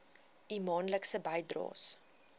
u maandelikse bydraes